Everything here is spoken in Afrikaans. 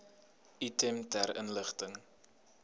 item ter inligting